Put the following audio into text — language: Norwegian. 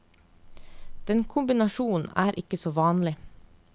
Den kombinasjonen er ikke så vanlig.